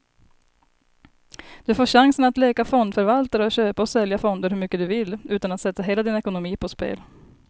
Du får chansen att leka fondförvaltare och köpa och sälja fonder hur mycket du vill, utan att sätta hela din ekonomi på spel.